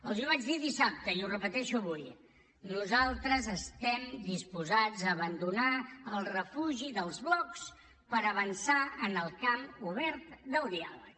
els ho vaig dir dissabte i ho repeteixo avui nosaltres estem disposats a abandonar el refugi dels blocs per avançar en el camp obert del diàleg